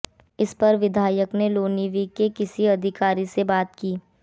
इसपर विधायक ने लोनिवि के किसी अधिकारी से बात की